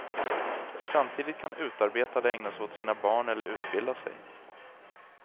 Samtidigt kan utarbetade ägna sig åt sina barn eller utbilda sig.